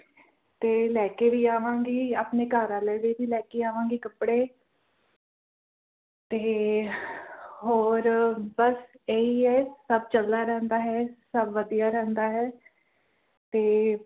ਤੇ ਲੈ ਕੇ ਵੀ ਆਵਾਂਗੀ ਆਪਣੇ ਘਰਵਾਲੇ ਦੇ ਵੀ ਲੈ ਕੇ ਆਵਾਂਗੀ ਕੱਪੜੇ ਤੇ ਹੋਰ ਬਸ ਏਹੀ ਹੈ ਸਭ ਚੰਗਾ ਰਹਿੰਦਾ ਹੈ ਸਬ ਵਧੀਆ ਰਹਿੰਦਾ ਹੈ ਤੇ